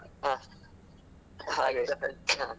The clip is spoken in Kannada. ಹಾ ಹಾಗೆ